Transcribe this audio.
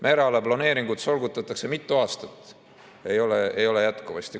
Mereala planeeringut solgutatakse mitu aastat, seda ei ole jätkuvasti.